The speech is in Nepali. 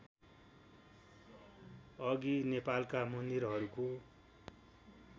अघि नेपालका मन्दिरहरूको